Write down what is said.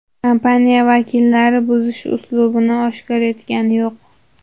Kompaniya vakillari buzish uslubini oshkor etayotgani yo‘q.